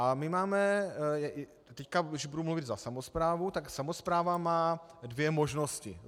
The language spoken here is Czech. A my máme teď, když budu mluvit za samosprávu, tak samospráva má dvě možnosti.